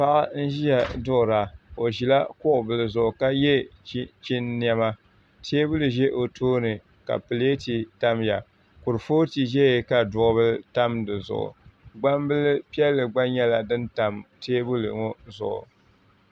Paɣa n ʒiya duɣura o ʒila kuɣu bili zuɣu ka yɛ chinchin niɛma teebuli ʒɛ o tooni ka pileet tamya kuripooti ʒɛya ka duɣu bili tam di zuɣu gbambili piɛlli gba nyɛla din tam teebuli maa zuɣu